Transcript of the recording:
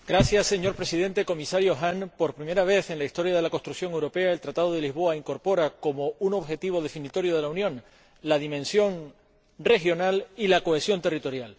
Señor Presidente, Comisario Hahn, por primera vez en la historia de la construcción europea, el Tratado de Lisboa incorpora como un objetivo definitorio de la Unión la dimensión regional y la cohesión territorial.